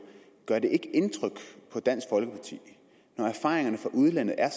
ikke indtryk på dansk folkeparti når erfaringerne fra udlandet er